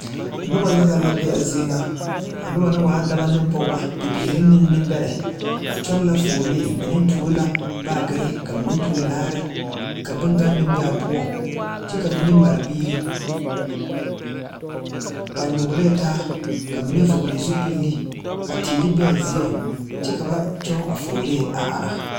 Nobɔ yaga la be a zie ŋa a nobɔ na waa dɔbɔ neŋ pɔgebɔ biire neŋ neŋbɛrɛ kyɔŋ la fuolee be ba tuo la baagyirre mine tuo laare ka bonganne bee aa poɔŋ kyɛ ka mine mare biire ba nyogelɛɛ taa ka mine vɔgle zupile ka teere bee aa zieŋ kyɛ ka ba kyɔŋ a fuolee a ara.